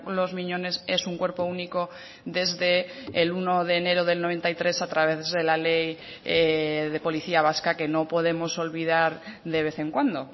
los miñones es un cuerpo único desde el uno de enero del noventa y tres a través de la ley de policía vasca que no podemos olvidar de vez en cuando